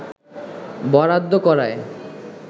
বরাদ্দ করায়